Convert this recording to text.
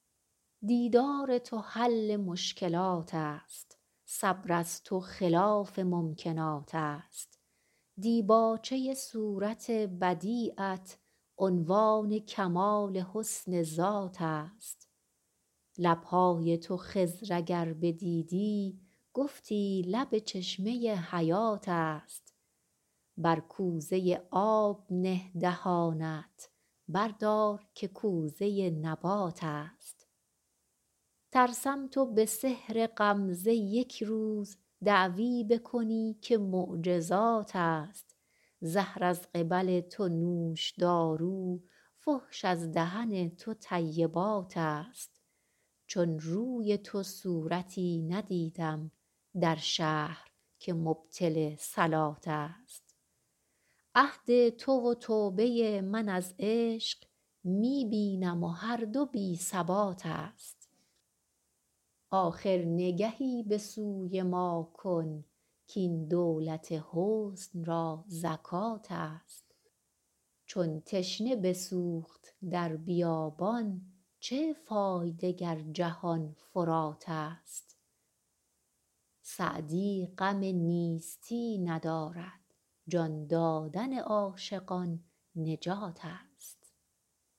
دیدار تو حل مشکلات است صبر از تو خلاف ممکنات است دیباچه صورت بدیعت عنوان کمال حسن ذات است لب های تو خضر اگر بدیدی گفتی لب چشمه حیات است بر کوزه آب نه دهانت بردار که کوزه نبات است ترسم تو به سحر غمزه یک روز دعوی بکنی که معجزات است زهر از قبل تو نوشدارو فحش از دهن تو طیبات است چون روی تو صورتی ندیدم در شهر که مبطل صلات است عهد تو و توبه من از عشق می بینم و هر دو بی ثبات است آخر نگهی به سوی ما کن کاین دولت حسن را زکات است چون تشنه بسوخت در بیابان چه فایده گر جهان فرات است سعدی غم نیستی ندارد جان دادن عاشقان نجات است